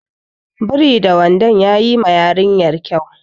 Biri da wandon yayi ma yarinyar kyau.